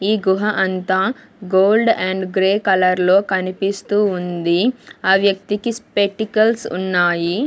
ఈ గుహ అంతా గోల్డ్ అండ్ గ్రే కలర్ లో కనిపిస్తూ ఉంది ఆ వ్యక్తికి స్పైటికల్స్ ఉన్నాయి.